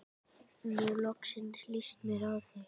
Nú loksins líst mér á þig.